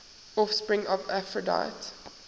offspring of aphrodite